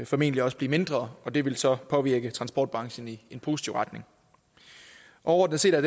formentlig også blive mindre og det vil så påvirke transportbranchen i en positiv retning overordnet set er